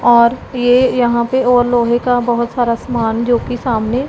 और ये यहां पे और लोहे का बहुत सारा सामान जो कि सामने--